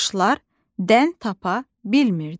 Quşlar dən tapa bilmirdi.